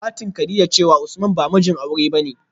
satin kadijah cewa usman ba mijin aure bane